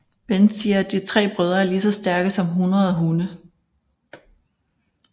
Ben siger at de tre brødre er lige så stærke som hundrede hunde